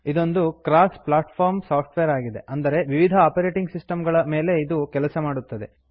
ಇದೊಂದು cross platform software ಆಗಿದೆ ಅಂದರೆ ವಿವಿಧ ಆಪರೇಟಿಂಗ್ ಸಿಸ್ಟಮ್ ಗಳ ಮೇಲೆ ಇದು ಕೆಲಸ ಮಾಡುತ್ತದೆ